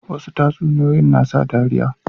Wasu tatsuniyoyin na sa dariya